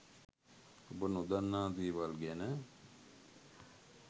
ඔබ නොදන්නා දේවල් ගැන